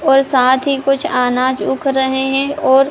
और साथ ही कुछ अनाज उग रहे हैं और --